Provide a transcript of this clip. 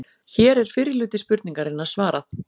Hér er fyrri hluta spurningarinnar svarað.